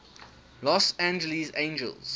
los angeles angels